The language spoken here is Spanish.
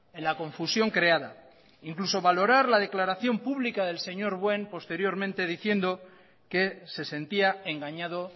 en la confusión creada incluso valorar la declaración pública del señor posteriormente diciendo que se sentía engañado